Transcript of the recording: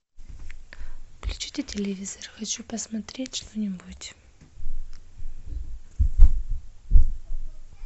включите телевизор хочу посмотреть что нибудь